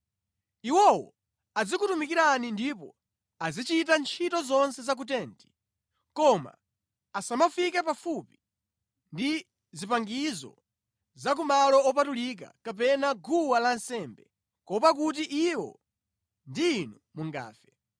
Iwowo azikutumikirani ndipo azichita ntchito zonse za ku tenti, koma asamafike pafupi ndi zipangizo za ku malo opatulika kapena guwa lansembe, kuopa kuti iwo ndi inu mungafe.